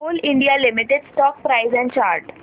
Coal India Limited stock price and chart